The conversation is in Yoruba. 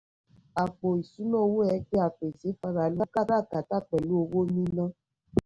àpò ìṣúná owó ẹgbẹ́ apèsè fáráàlú kára kátà pẹ̀lú owó níná.